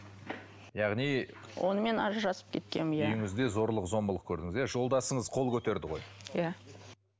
яғни онымен ажырасып кеткенмін иә үйіңізде зорлық зомбылық көрдіңіз иә жолдасыңыз қол көтерді ғой иә